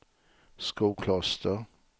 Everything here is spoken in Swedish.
Skokloster